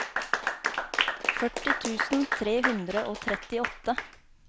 førti tusen tre hundre og trettiåtte